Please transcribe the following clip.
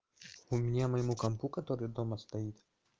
у меня моему компу который дома стоит